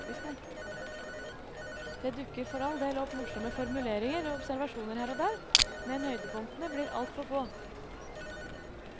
Det dukker for all del opp morsomme formuleringer og observasjoner her og der, men høydepunktene blir altfor få.